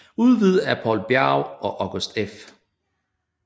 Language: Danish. Udgivet af Poul Bjerge og August F